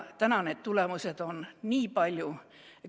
Täna on tulemused nii palju.